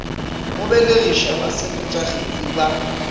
go belegiša basepetša kgetsi ba